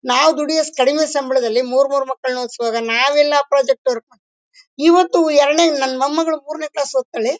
ನಾವು ದುಡಿಯೋ ಕಡಿಮೆ ಸಂಬಳದಲ್ಲಿ ಮೂರ್ ಮೂರ್ ಮಕ್ಕಳನ್ನ ಓದಿಸುವಾಗ ನಾವೆಲ್ಲ ಆ ಪ್ರೊಜೆಕ್ಟ್ ವರ್ಕ್ ಇವತ್ತು ಎರಡನೇ ನನ್ ಮೊಮ್ಮಗಳು ಮೂರನೇ ಕ್ಲಾಸ್ ಓದುತ್ತಳೆ--